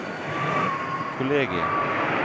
kollegiet